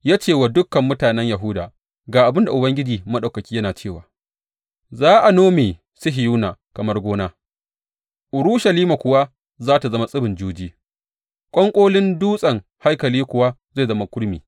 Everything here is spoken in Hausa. Ya ce wa dukan mutanen Yahuda, Ga abin da Ubangiji Maɗaukaki yana cewa, Za a nome Sihiyona kamar gona, Urushalima kuwa za tă zama tsibin juji, ƙwanƙolin dutsen haikali kuwa zai zama kurmi.’